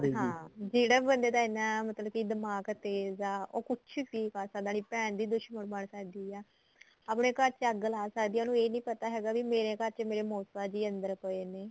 ਹਾਂ ਜਿਹੜਾ ਬੰਦੇ ਦਾ ਇੰਨਾ ਮਤਲਬ ਕੀ ਦਿਮਾਗ ਤੇਜ ਆ ਉਹ ਕੁੱਝ ਵੀ ਕਰ ਸਕਦਾ ਭੈਣ ਦੀ ਦੁਸ਼ਮਣ ਬਣ ਸਕਦੀ ਆ ਆਪਣੇ ਘਰ ਚ ਅੱਗ ਲਾ ਸਕਦੀ ਆ ਉਹਨੂੰ ਇਹ ਨੀਂ ਪਤਾ ਹੈਗਾ ਮੇਰੇ ਘਰ ਚ ਮੇਰੇ ਮੋਸਾ ਜੀ ਅੰਦਰ ਪਏ ਨੇ